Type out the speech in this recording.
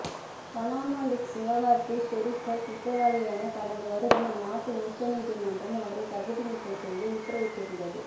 Panama leaks விவகாரத்தில் ஷெரீப்பை குற்றவாளி என கடந்த வருடம் அந்நாட்டு உச்சநீதிமன்றம் அவரை தகுதி நீக்கம் செய்து உத்தரவிட்டடிருந்தது